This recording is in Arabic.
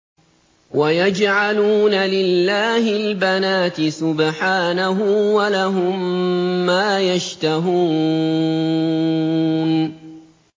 وَيَجْعَلُونَ لِلَّهِ الْبَنَاتِ سُبْحَانَهُ ۙ وَلَهُم مَّا يَشْتَهُونَ